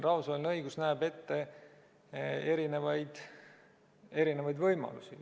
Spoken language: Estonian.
Rahvusvaheline õigus näeb siin ette erinevaid võimalusi.